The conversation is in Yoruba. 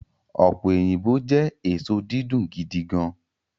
ope oyinbo jẹ eso didun gidigan